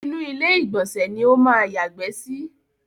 Inú ilé ìgbọ̀nsẹ̀ ni ó máa yàgbẹ́ sí.